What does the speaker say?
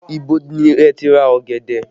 Ibo ni ẹ ti ra ọ̀gẹ̀dẹ̀?